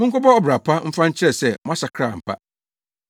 Monkɔbɔ ɔbra pa mfa nkyerɛ sɛ moasakra ampa.